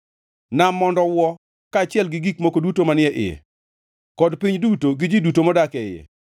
Nam mondo owuo, kaachiel gi gik moko duto manie iye, kod piny duto, gi ji duto modak e iye.